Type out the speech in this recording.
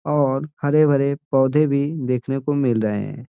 और हरे-भरे पोधे भी देखने को मिल रहे है।